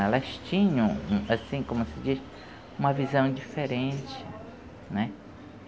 Elas tinham, assim, como se diz? Uma visão diferente, né?